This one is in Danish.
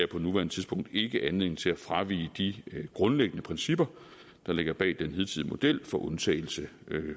på nuværende tidspunkt ikke anledning til at fravige de grundlæggende principper der ligger bag den hidtidige model for undtagelse